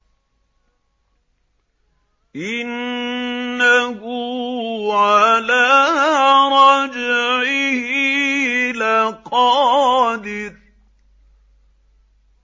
إِنَّهُ عَلَىٰ رَجْعِهِ لَقَادِرٌ